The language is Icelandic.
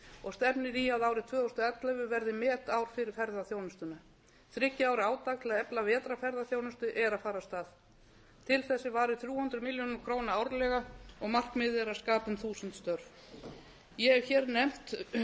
og stefnir í að árið tvö þúsund og ellefu verði metár fyrir ferðaþjónustuna þriggja ára átak til að efla vetrarferðaþjónustu er að fara af stað til þess er varið þrjú hundruð milljóna króna árlega og markmiðið er að skapa um þúsund störf ég hef hér nefnt